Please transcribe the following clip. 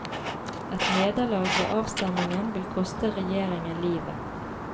Et nederlag ved avstemningen vil koste regjeringen livet.